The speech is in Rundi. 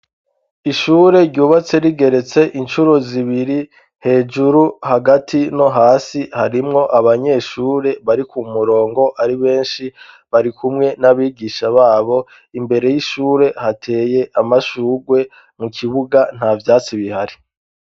Ishure ryubatse rigeretse incuruzibiri hejuru hagati no hasi harimwo abanyeshure bari ku murongo ari benshi bari kumwe n'abigisha babo imbere y'ishure hateye amashurwe mu kibuga nta vyatsi bihari.